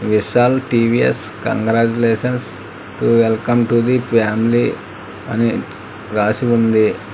Vishal TVS congratulations welcome to the family అని రాసి ఉంది.